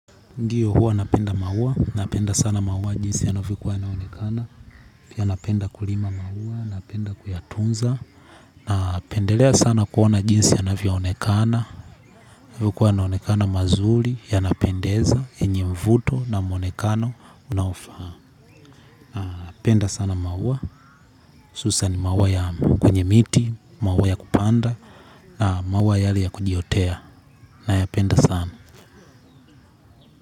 Ndiyo huwa napenda maua, napenda sana maua jinsi yanavyo kuwa naonekana, ya napenda kulima maua, napenda kuyatunza, na pendelea sana kuona jinsi yanavyo onekana, huku yanaonekana mazuri, ya napendeza, yenye uvuto na maonekano unaofaa. Napenda sana maua, husan maua ya kwenye miti, maua ya kupanda, na maua yale ya kujiotea, na ya penda sana.